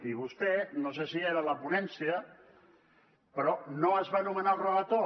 i vostè no sé si hi era a la ponència però no es va nomenar el relator